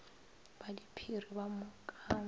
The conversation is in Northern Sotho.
ba diphiri ba mo kaba